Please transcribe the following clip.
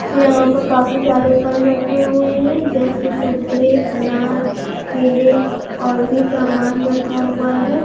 यहाँ पर काफी सारे फल रखें हुए है जैसे संतरे अनार कैले और भी सामान रखा हुआ है।